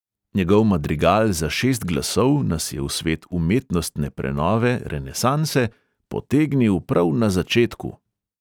Njegov madrigal za šest glasov nas je v svet umetnostne prenove – renesanse "potegnil" prav na začetku.